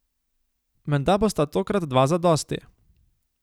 Menda bosta tokrat dva zadosti.